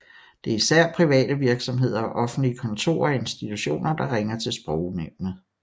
Det er især private virksomheder og offentlige kontorer og institutioner der ringer til Sprognævnet